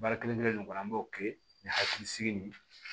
Baara kelen kelen kɔni an b'o kɛ ni hakilisigi nin ye